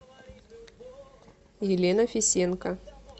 елена фисенко